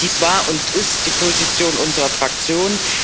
Dies war und ist die Position unserer Fraktion.